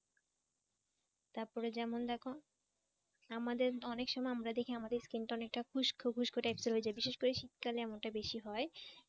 তারপরে যেমন দেখো আমাদের অনেক সময় আমরা দেখি আমাদের skin tone একটা খুস্কো খুস্কো types এর হয়ে যায় বিশেষ করে শীতকালে এমনটা বেশি হয়